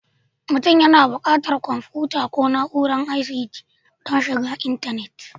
Mutum yana buƙatar kwamfuta ko na'urar ICT don shiga intanet